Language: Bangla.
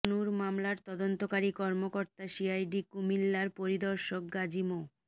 তনুর মামলার তদন্তকারী কর্মকর্তা সিআইডি কুমিল্লার পরিদর্শক গাজী মো